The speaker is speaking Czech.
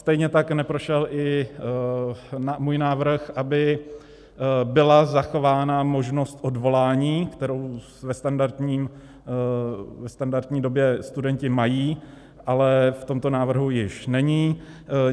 Stejně tak neprošel i můj návrh, aby byla zachována možnost odvolání, kterou ve standardní době studenti mají, ale v tomto návrhu již není.